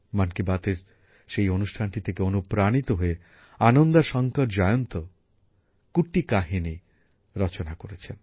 মন কি বাতের সেই অনুষ্ঠানটি থেকে অনুপ্রাণিত হয়ে আনন্দা শঙ্কর জয়ন্ত কুট্টি কাহিনী রচনা করেছেন